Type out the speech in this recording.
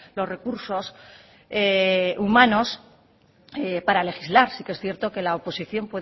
los recursos humanos para legislar sí que es cierto que la oposición